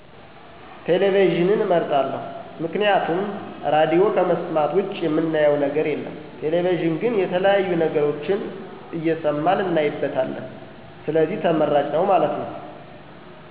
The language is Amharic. ቴሌቪዥንን አመርጣለሁ፦ ምክንያቱም ራድዮ ከመሥማት ውጭ ምናየው ነገር የለም ቴሌቪዥን ግን የተለያዬ ነገሮችን እሠማን እናይበታለን ስለዚህ ተመራጭ ነው ማለት ነው።